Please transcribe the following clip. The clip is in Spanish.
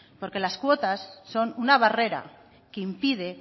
porque las cuotas son una barrera que impide